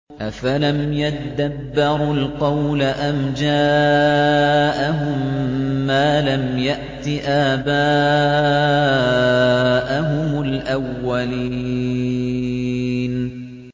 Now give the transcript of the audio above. أَفَلَمْ يَدَّبَّرُوا الْقَوْلَ أَمْ جَاءَهُم مَّا لَمْ يَأْتِ آبَاءَهُمُ الْأَوَّلِينَ